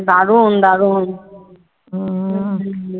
দারুন দারুন